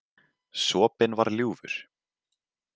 Sopinn var ljúfur.